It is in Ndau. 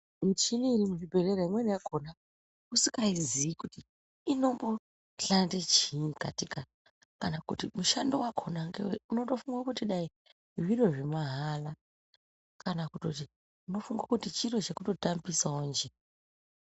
Muchini yemuzvibhedhlera imweni yakona usingazii kuti inomboshanda chiini katika kana kuti mushando wakona ngewei unotofunga kuti dai zviro zvemahara kana kuti unotofunga kuti chiro chekungotambisaonje.